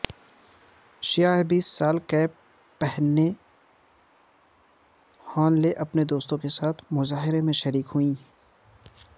سیاہ baseball cap پہنے ہان لے اپنے دوستوں کے ساتھ مظاہرے میں شریک ہوئیں